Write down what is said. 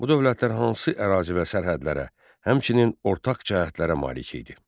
Bu dövlətlər hansı ərazi və sərhədlərə, həmçinin ortaq cəhətlərə malik idi?